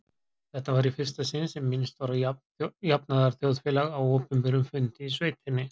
Þetta var í fyrsta sinn sem minnst var á jafnaðarþjóðfélag á opinberum fundi í sveitinni.